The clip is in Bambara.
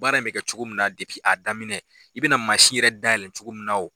Baara in bɛ kɛ cogo min na a daminɛ i bɛna mansin yɛrɛ dayɛlɛn cogo min na